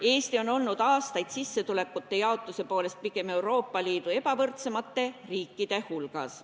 Eesti on olnud aastaid sissetulekute jaotuse poolest pigem Euroopa Liidu ebavõrdsemate riikide hulgas.